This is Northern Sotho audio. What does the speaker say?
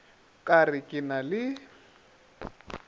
ka re ke na le